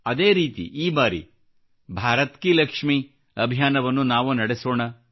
ಅದೇ ರೀತಿ ಈ ಬಾರಿ ಭಾರತ್ ಕಿ ಲಕ್ಷ್ಮಿ ಅಭಿಯಾನವನ್ನು ನಾವು ನಡೆಸೋಣ